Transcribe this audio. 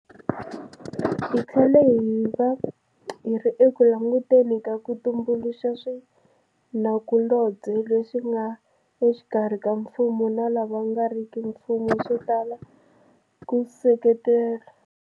Hi tlhela hi va hi ri eku languteni ka ku tumbuluxa swinakulobye leswi nga exikarhi ka mfumo na lava nga riki mfumo swo tala ku seketela.